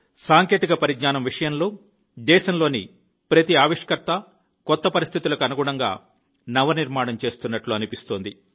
సాంకేతిక పరిజ్ఞానం విషయంలో దేశంలోని ప్రతి ఆవిష్కర్త కొత్త పరిస్థితులకు అనుగుణంగా నవ నిర్మాణం చేస్తున్నట్టు అనిపిస్తుంది